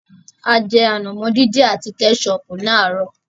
A jẹ ànàmọ́ dín dín àti Kẹ́sọọ̀pù láàárọ̀.